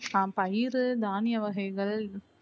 அஹ் பயிறு தானிய வகைகள்